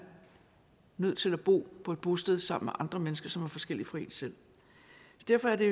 nødt til at bo på et bosted sammen med andre mennesker som er forskellige fra en selv derfor er det